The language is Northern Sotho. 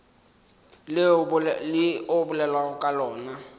le o bolelago ka lona